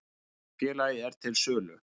Félagið er til sölu.